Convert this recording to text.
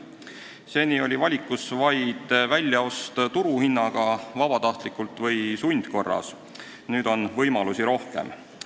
Seni oli valikus vaid kinnisasja väljaost turuhinnaga kas vabatahtliku või sundkorras müügitehingu abil, nüüd on võimalusi rohkem.